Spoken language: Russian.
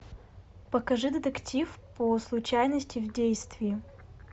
покажи детектив по случайности в действии